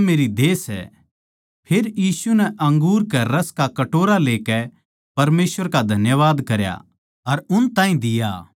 फेर यीशु नै अंगूर के रस का कटोरा लेकै परमेसवर का धन्यवाद करया अर उन ताहीं दिया अर उन सारया नै उस म्ह तै पीया